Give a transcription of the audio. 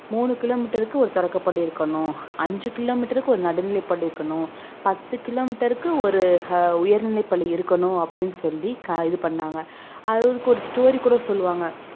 மூணு kilo meter க்கு ஒரு தொடக்கப் பள்ளி இருக்கணும் அஞ்சு kilo meter க்கு ஒரு நடுநிலைப் பள்ளி இருக்கணும் பத்து kilo meter க்கு ஒரு அஹ் உயர்நிலைப் பள்ளி இருக்கணும் அப்படின்னு சொல்லி க~ இது பண்ணாங்க அது அதுக்கு ஒரு story கூட சொல்லுவாங்க